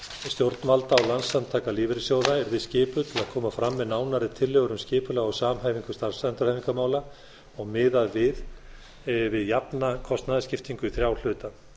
stjórnvalda og landssamtaka lífeyrissjóða yrði skipuð til að koma fram með nánari tillögur um skipulag og samhæfingu starfsendurhæfingarmála og miðað við jafna kostnaðarskiptingu í þrjá hluta